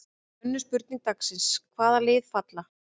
Önnur spurning dagsins: Hvaða lið falla?